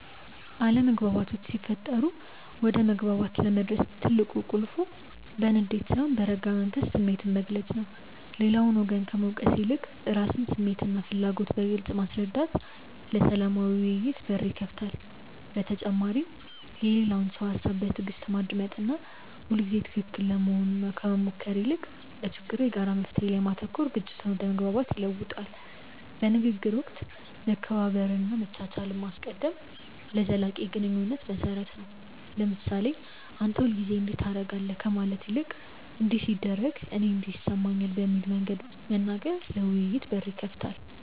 አለመግባባቶች ሲፈጠሩ ወደ መግባባት ለመድረስ ቁልፉ በንዴት ሳይሆን በረጋ መንፈስ ስሜትን መግለጽ ነው። ሌላውን ወገን ከመውቀስ ይልቅ የራስን ስሜትና ፍላጎት በግልጽ ማስረዳት ለሰላማዊ ውይይት በር ይከፍታል። በተጨማሪም የሌላውን ሰው ሃሳብ በትዕግስት ማዳመጥና ሁልጊዜ ትክክል ለመሆን ከመሞከር ይልቅ ለችግሩ የጋራ መፍትሔ ላይ ማተኮር ግጭትን ወደ መግባባት ይለውጠዋል። በንግግር ወቅት መከባበርንና መቻቻልን ማስቀደም ለዘላቂ ግንኙነት መሰረት ነው። ለምሳሌ "አንተ ሁልጊዜ እንዲህ ታደርጋለህ" ከማለት ይልቅ "እንዲህ ሲደረግ እኔ እንዲህ ይሰማኛል" በሚል መንገድ መናገር ለውይይት በር ይከፍታል።